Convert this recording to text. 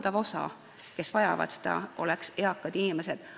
Valdav osa, kes seda vajavad, on eakad inimesed.